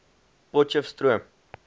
potcheftsroom